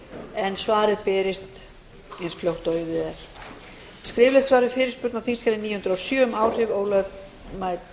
en svarið berist eins fljótt og auðið er öðrum skriflegt svar við fyrirspurn á þingskjali níu hundruð og sjö um áhrif